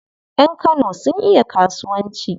Yan Kano sun iya kasuwanci.